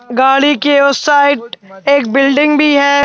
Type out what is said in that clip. गाड़ी के उस साइड एक बिल्डिंग भी है।